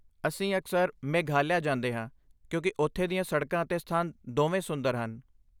ਅਸੀਂ ਅਕਸਰ ਮੇਘਾਲਿਆ ਜਾਂਦੇ ਹਾਂ ਕਿਉਂਕਿ ਉੱਥੇ ਦੀਆਂ ਸੜਕਾਂ ਅਤੇ ਸਥਾਨ ਦੋਵੇਂ ਸੁੰਦਰ ਹਨ।